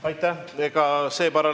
Aitäh!